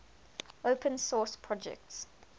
open source projects